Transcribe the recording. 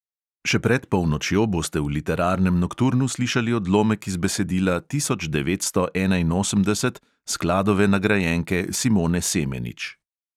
Še pred polnočjo boste v literarnem nokturnu slišali odlomek iz besedila tisoč devetsto enainosemdeset skladove nagrajenke simone semenič.